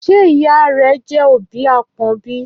Ṣé ìyá rẹ jẹ́ òbí àpọ́n bí?